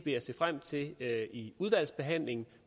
jeg se frem til at diskutere i udvalgsbehandlingen